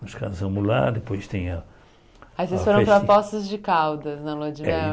Nós casamos lá, depois tem a... Aí vocês foram para Poços de Caldas, na lua de mel.